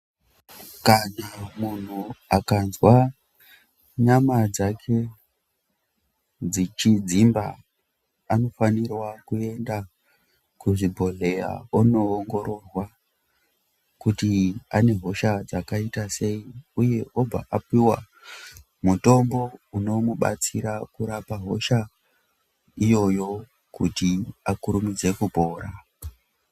Kana muntu akanzwa nyama dzake dzichidzimba anofanira kuenda kuzvibhodhleya onoongororwa kuti ane hosha dzakaita sei uye obva apuwa mutombo unomubatsira kurapa hosha iyoyo kuti akurumidze kupora.